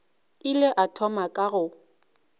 ile a thoma ka go